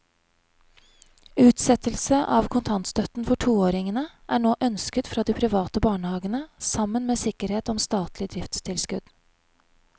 Utsettelse av kontantstøtten for toåringene er nå ønsket fra de private barnehavene sammen med sikkerhet om statlig driftstilskudd.